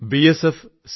BSF C